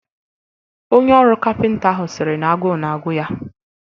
Onye ọrụ kapịnta ahụ sịrị na agụụ na-agụ ya